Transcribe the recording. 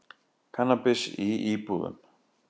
Kannabis í íbúðum